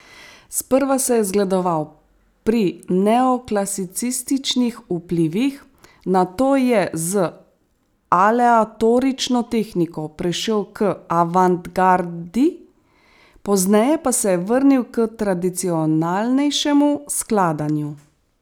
Sprva se je zgledoval pri neoklasicističnih vplivih, nato je z aleatorično tehniko prešel k avantgardi, pozneje pa se je vrnil k tradicionalnejšemu skladanju.